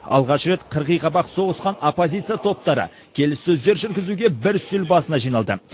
алғаш рет қырғиқабақ соғысқан оппозиция топтары келіссөздер жүргізуге бір үстел басына жиналды